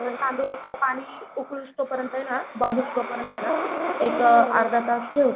तांदूळ एक पाणी उकलोस्तोपर्यंत ना बॉईल होस्तो पर्यंत ना एक अर्धातास ठेवतात.